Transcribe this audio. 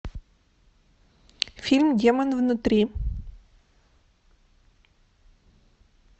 фильм демон внутри